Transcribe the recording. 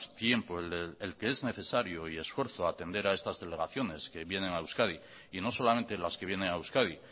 tiempo el que es necesario y esfuerzo a atender a estas delegaciones que vienen a euskadi y no solamente las que vienen a euskadi